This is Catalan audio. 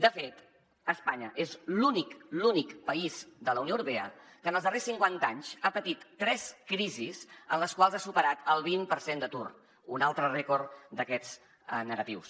de fet espanya és l’únic l’únic país de la unió europea que en els darrers cinquanta anys ha patit tres crisis en les quals ha superat el vint per cent d’atur un altre rècord d’aquests negatius